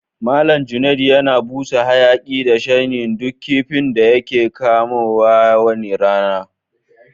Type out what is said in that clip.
Mallam Junaid yana busa hayaki da shanyin duk kifin da yake kamaw ko wani rana.